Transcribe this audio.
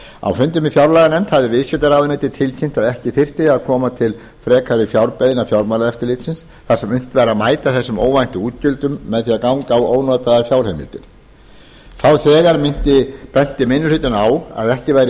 á fundi með fjárlaganefnd hafði viðskiptaráðuneytið tilkynnt að ekki þyrfti að koma til frekari fjárbeiðna fjármálaeftirlitsins þar sem unnt væri að mæta þessum óvæntu útgjöldum með því að ganga á ónotaðar fjárheimildir þá þegar benti minni hlutinn á að ekki væri